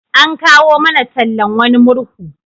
An kawo mana tallan wani murhu.